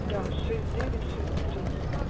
да шесть девять шесть три